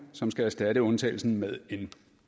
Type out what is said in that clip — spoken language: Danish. som skal erstatte undtagelsen med en